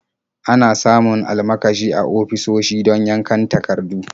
Ana samun almakashi a ofisoshi don yankan takardu.